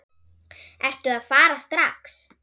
Ertu að fara strax?